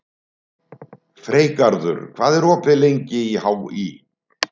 Freygarður, hvað er opið lengi í HÍ?